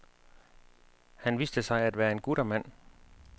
Han viste sig at være en guttermand.